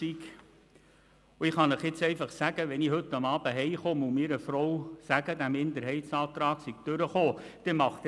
Und ich kann Ihnen sagen, dass meine Frau auch solch grosse Augen macht, wenn ich heute Abend heim komme und erzähle, dass der Minderheitsantrag angenommen worden ist.